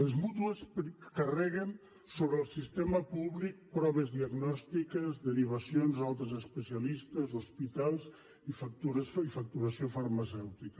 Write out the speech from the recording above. les mútues carreguen sobre el sistema públic proves diagnòstiques derivacions a altres especialistes hospitals i facturació farmacèutica